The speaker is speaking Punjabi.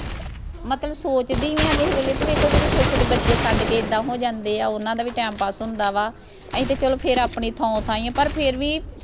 ਮਤਲਬ ਸੋਚਦੀ ਆਂ ਕਿਸੇ ਵੇਲੇ ਤੇ ਵੇਖੋ ਜਿਹੜੇ ਛੋਟੇ ਛੋਟੇ ਬੱਚੇ ਛੱਡ ਕੇ ਐਦਾਂ ਹੋ ਜਾਂਦੇ ਆ ਓਹਨਾਂ ਦਾ ਵੀ ਟਾਈਮ ਪਾਸ ਹੁੰਦਾ ਵਾ ਅਸੀਂ ਤੇ ਫੇਰ ਚਲੋ ਆਪਣੀ ਥਾਓਂ ਥਾਈਂ ਆ ਪਰ ਫੇਰ ਵੀ